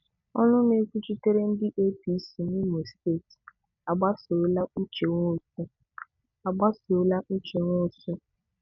Ọnụ na-ekwuchitere ndị APC n'Imo steeti agbasola Uche Nwosu agbasola Uche Nwosu